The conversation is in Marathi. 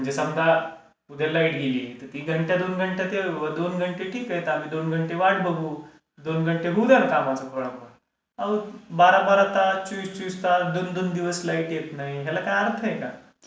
म्हणजे समजा उद्या लाईट गेली त ती घंटा दोन घंटे ठीक आहे चालली दोन घंटे वाट बघू. दोन घंटे गुजरतात कामाच बरोबर. बारा बारा तास चोवीस चोवीस तास, दोन दोन दिवस लाईट येत नाही याला काय अर्थ आहे का?